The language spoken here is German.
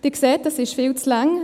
Sie sehen, das ist viel zu lang.